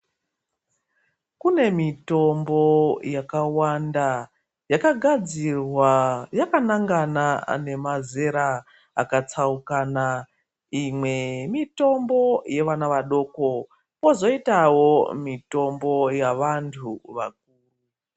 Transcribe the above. Kune mitombo yakawanda yakagadzirwa yakanangana nemazera akatsaukana. Imwe yemitombo yevana vadoko kozoitawo mitombo yavantu.